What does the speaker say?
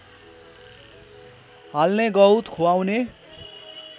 हाल्ने गहुँत खुवाउने